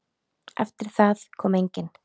Eftir það kom enginn.